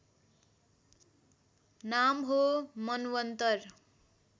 नाम हो मन्वन्तर